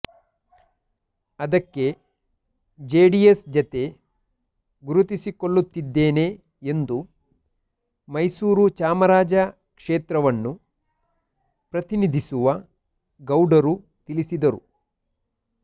ಅದಕ್ಕೆ ಜೆಡಿಎಸ್ ಜತೆ ಗುರುತಿಸಿಕೊಳ್ಳುತ್ತಿದ್ದೇನೆ ಎಂದು ಮೈಸೂರು ಚಾಮರಾಜ ಕ್ಷೇತ್ರವನ್ನು ಪ್ರತಿನಿಧಿಸುವ ಗೌಡರು ತಿಳಿಸಿದರು